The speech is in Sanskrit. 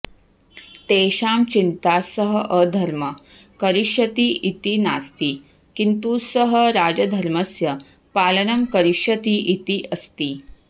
तेषां चिन्ता सः अधर्मं करिष्यति इति नास्ति किन्तु सः राजधर्मस्य पालनं करिष्यति इति अस्ति